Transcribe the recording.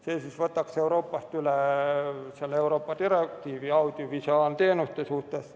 See võtaks Euroopast üle Euroopa direktiivi audiovisuaalteenuste suhtes.